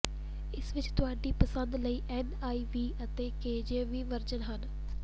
ਇਸ ਵਿੱਚ ਤੁਹਾਡੀ ਪਸੰਦ ਲਈ ਐਨਆਈਵੀ ਅਤੇ ਕੇਜੇਵੀ ਵਰਜ਼ਨ ਹਨ